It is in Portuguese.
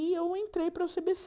E aí eu entrei para o cê bê cê.